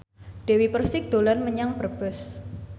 Dewi Persik dolan menyang Brebes